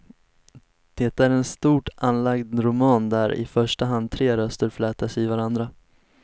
Det är en stort anlagd roman där i första hand tre röster flätas i varandra.